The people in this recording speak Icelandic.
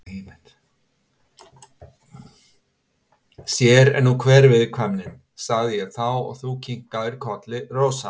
Sér er nú hver viðkvæmnin, sagði ég þá og þú kinkaðir kolli, Rósa.